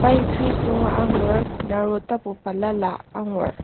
Pine trees angur naro tapu balala angur.